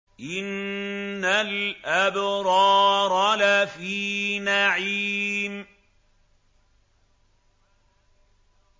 إِنَّ الْأَبْرَارَ لَفِي نَعِيمٍ